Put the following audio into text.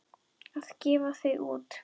Að gefa þau út!